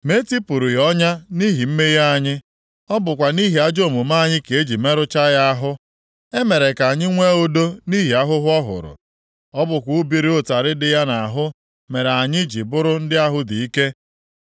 Ma e tipụrụ ya ọnya nʼihi mmehie anyị: ọ bụkwa nʼihi ajọ omume anyị ka e ji merụchaa ya ahụ. E mere ka anyị nwee udo nʼihi ahụhụ ọ hụrụ; ọ bụkwa ubiri ụtarị dị ya nʼahụ mere anyị ji bụrụ ndị ahụ dị ike.